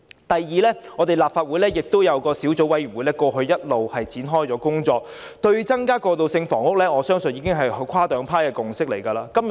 第二，我們立法會亦有一個小組委員會，過去一直展開工作，對於增加過渡性房屋，我相信已有跨黨派共識。